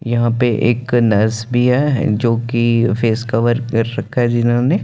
यह पे एक नर्स भी हैं जो की फेस कवर रखा हैं जिन्होंने--